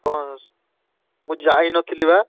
କଣ? ମୁଁ ଯାଇନଥିଲି ବା।